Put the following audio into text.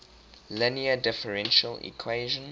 linear differential equation